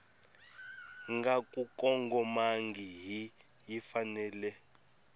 nga ku kongomangihi yi fanele